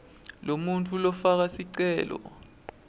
lomuntfu lofaka sicelo